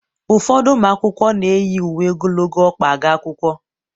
ụfọdụ ụmụ akwụkwọ na-eyi uwe ogologo ọkpa aga akwụkwọ